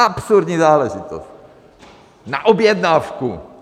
Absurdní záležitost na objednávku.